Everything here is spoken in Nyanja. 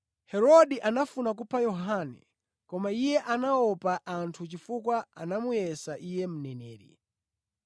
Herode anafuna kupha Yohane koma iye anaopa anthu chifukwa anamuyesa iye mneneri.